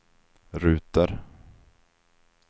ruter